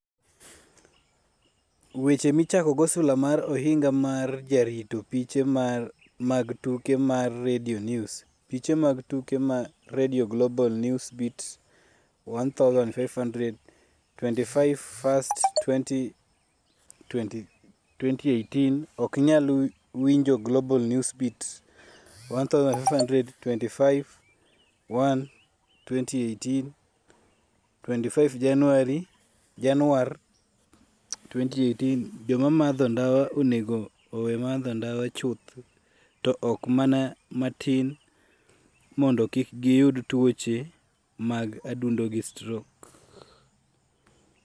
Weche Michakogo Sula mag Ohinga mar Jarito Piche mag Tuke mar Radio News Piche mag Tuke mar Radio Global Newsbeat 1500 25/01/2018 Ok inyal winjo Global Newsbeat 1500 25/01/2018 25 Januar 2018 Joma madho ndawa onego owe madho ndawa chuth to ok mana matin mondo kik giyud tuoche mag adundo gi strok.